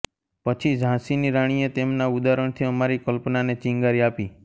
પછી ઝાંસીની રાણીએ તેમના ઉદાહરણથી અમારી કલ્પનાને ચિંગારી આપી